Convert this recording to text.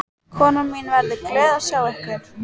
Konan mín verður glöð að sjá ykkur.